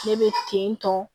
Ne bɛ ten tɔ